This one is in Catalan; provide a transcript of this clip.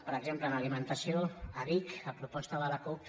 per exemple en alimentació a vic a proposta de la cup